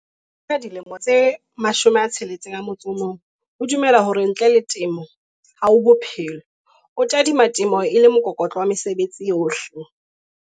Mvikele ya dilemo tse 61 o dumela hore ntle le temo ha ho bophelo. O tadima temo e le mokokotlo wa mesebetsi yohle.